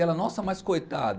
E ela, nossa, mas coitado.